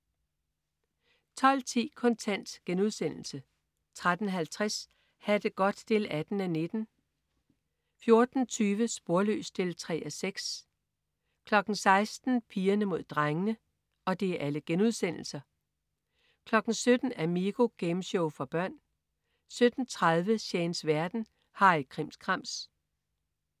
12.10 Kontant* 13.50 Ha' det godt 18:19* 14.20 Sporløs 3:6* 16.00 Pigerne Mod Drengene* 17.00 Amigo. Gameshow for børn 17.30 Shanes verden. Harry Krimskrams